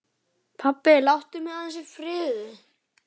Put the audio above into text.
Pabbi, láttu mig aðeins í friði.